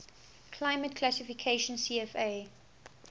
climate classification cfa